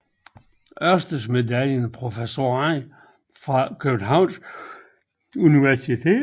Ørsted Medaljen Professorer fra Københavns Universitet